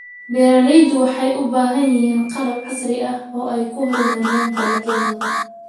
Beeraleydu waxay u baahan yihiin qalab casri ah oo ay ku horumariyaan dalagyadooda.